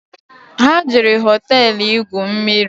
Ha jere hoteelu igwu mmiri